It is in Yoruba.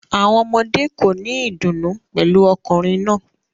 Awọn ọmọde ko ni idunnu pẹlu ọkunrin naa